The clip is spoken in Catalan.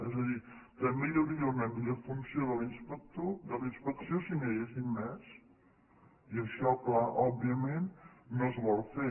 és a dir també hi hauria una millor funció de la inspecció si n’hi haguessin més i això clar òbviament no es vol fer